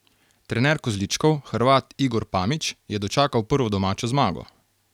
Trener kozličkov, Hrvat Igor Pamić, je dočakal prvo domačo zmago.